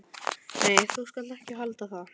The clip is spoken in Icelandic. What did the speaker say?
Nei, þú skalt ekki halda það!